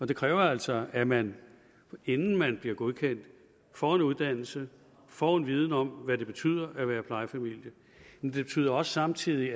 det kræver altså at man inden man bliver godkendt får en uddannelse får en viden om hvad det betyder at være plejefamilie men det betyder også samtidig